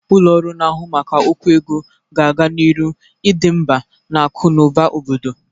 Ụlọ ọrụ na-ahụ maka okwu ego ga-aga n'iru idị mgba n'akụ na ụba obodo.